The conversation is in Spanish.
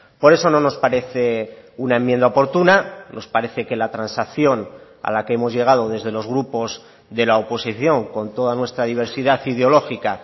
por eso no nos parece una enmienda oportuna nos parece que la transacción a la que hemos llegado desde los grupos de la oposición con toda nuestra diversidad ideológica